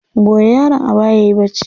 Goya yaron a baya yayi bacci.